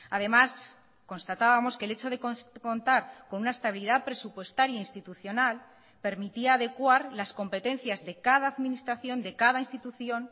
además constatábamos que el hecho de contar con una estabilidad presupuestaria institucional permitía adecuar las competencias de cada administración de cada institución